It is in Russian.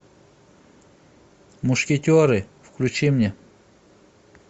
мушкетеры включи мне